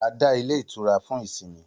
A dá ilé itura fún ìsinmi